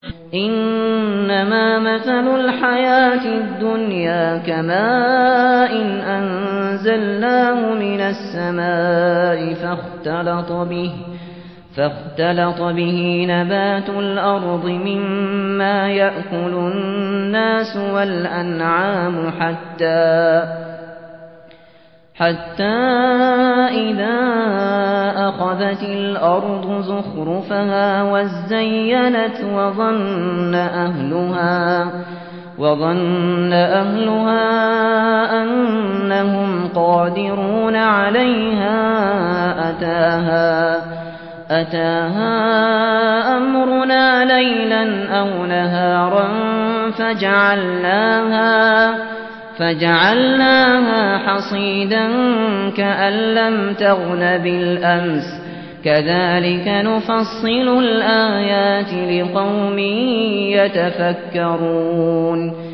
إِنَّمَا مَثَلُ الْحَيَاةِ الدُّنْيَا كَمَاءٍ أَنزَلْنَاهُ مِنَ السَّمَاءِ فَاخْتَلَطَ بِهِ نَبَاتُ الْأَرْضِ مِمَّا يَأْكُلُ النَّاسُ وَالْأَنْعَامُ حَتَّىٰ إِذَا أَخَذَتِ الْأَرْضُ زُخْرُفَهَا وَازَّيَّنَتْ وَظَنَّ أَهْلُهَا أَنَّهُمْ قَادِرُونَ عَلَيْهَا أَتَاهَا أَمْرُنَا لَيْلًا أَوْ نَهَارًا فَجَعَلْنَاهَا حَصِيدًا كَأَن لَّمْ تَغْنَ بِالْأَمْسِ ۚ كَذَٰلِكَ نُفَصِّلُ الْآيَاتِ لِقَوْمٍ يَتَفَكَّرُونَ